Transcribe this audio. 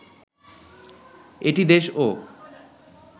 এটি দেশ ও